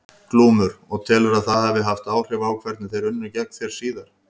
Glúmur: Og telurðu að það hafi haft áhrif á hvernig þeir unnu gegn þér síðar?